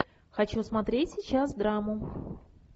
хочу смотреть сейчас драму